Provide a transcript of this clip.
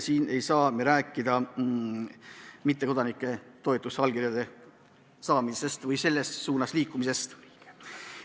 Me ei saa rääkida mittekodanike toetusallkirjade saamisest või selles suunas liikumisest.